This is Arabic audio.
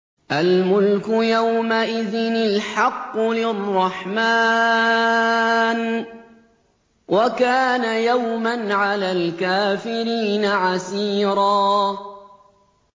الْمُلْكُ يَوْمَئِذٍ الْحَقُّ لِلرَّحْمَٰنِ ۚ وَكَانَ يَوْمًا عَلَى الْكَافِرِينَ عَسِيرًا